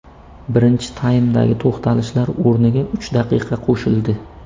Birinchi taymdagi to‘xtalishlar o‘rniga uch daqiqa qo‘shildi.